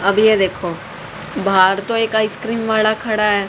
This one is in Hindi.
अभी ये देखो बाहर तो एक आइसक्रीम वाणा खड़ा है।